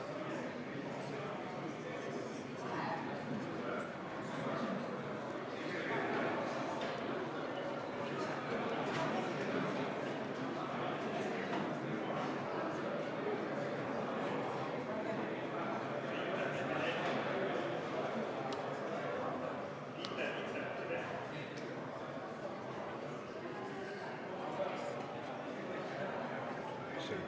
V a h e a e g